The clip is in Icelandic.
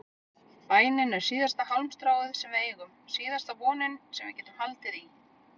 Bænin er síðasta hálmstráið sem við eigum, síðasta vonin sem við getum haldið í.